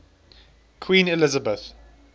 queen elizabeth